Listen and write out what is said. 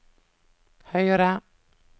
høyre